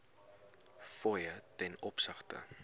fooie ten opsigte